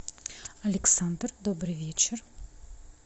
александр добрый вечер